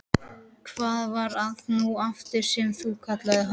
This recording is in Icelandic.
Hvað var það nú aftur sem þú kallaðir hann?